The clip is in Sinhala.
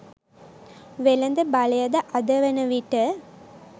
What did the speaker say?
වෙළද බලයද අද වන විට